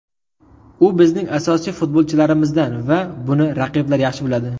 U bizning asosiy futbolchilarimizdan va buni raqiblar yaxshi biladi.